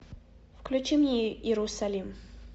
включи мне иерусалим